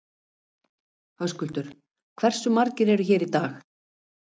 Höskuldur: Hversu margir eru hér í dag?